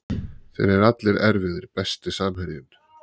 Þeir eru allir erfiðir Besti samherjinn?